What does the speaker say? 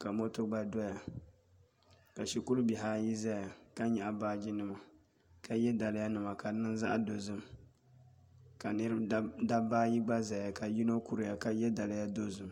ka moto gba doya ka shikuru bihi ayi ʒɛya ka nyaɣi baaji nima ka yɛ daliya nima ka di niŋ zaɣ dozim ka dabba gba ʒɛya ka yino kuriya ka yɛ daliya dozim